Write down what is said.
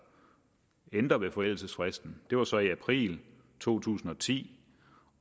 ændre ved forældelsesfristen det var så i april to tusind og ti